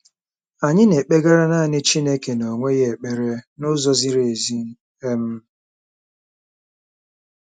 Anyị na-ekpegara naanị Chineke n'onwe ya ekpere n'ụzọ ziri ezi. um